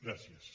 gràcies